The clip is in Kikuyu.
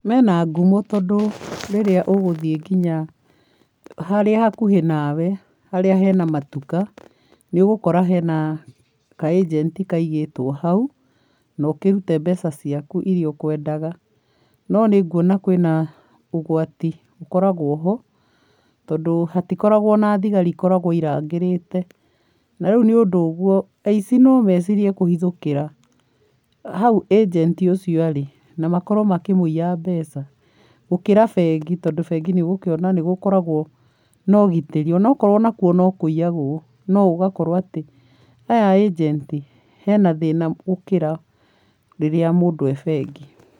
Mena ngumo tondũ rĩria ũgũthiĩ nginya harĩa hakuhĩ nawe, harĩa hena matuka, nĩ ũgũkora hena kaĩjenti kaigĩtwo hau, na ũkĩrute mbeca ciaku iria ũkwendaga, no nĩ nguona kwĩna ũgwati ũkoragwo ho, tondũ hatikoragwo na thigari ikoragwo irangĩrite, na rĩu nĩ ũndũ ũguo, aici no mecirie kũhithũkĩra, hau ĩjenti ũcio arĩ, na makorwo makĩmũiya mbeca, gũkĩra bengi tondũ bengĩ nĩ ũgũkĩona nĩ gũkoragwo na ũgitĩri o na okorwo o na kuo no kũiyagwo, no ũgakorwo atĩ, aya ĩjenti, hena thĩna gũkĩra rĩrĩa mũndũ e bengi.